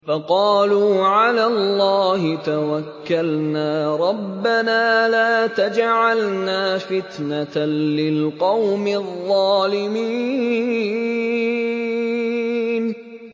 فَقَالُوا عَلَى اللَّهِ تَوَكَّلْنَا رَبَّنَا لَا تَجْعَلْنَا فِتْنَةً لِّلْقَوْمِ الظَّالِمِينَ